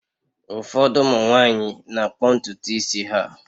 Ụfọdụ ụmụ nwanyị na-akpọ ntutu isi ha.